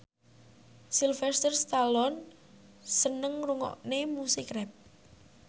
Sylvester Stallone seneng ngrungokne musik rap